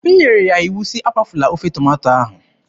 M nyere ya iwu sị, "Akwafukwala ofe tomato ahụ!"